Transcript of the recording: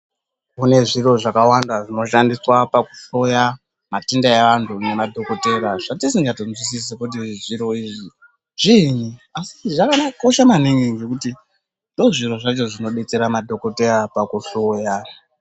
Kune zviro zvakawanda zvinoshandiswa pakuhloya matenda eantu nedhokodheya zvatisikatoziyi kuti zviro izvi zviinyi zvakakosha maningi ngekuti ndizvo zviro zvacho zvinobetsera madhokodheya pakuhloya .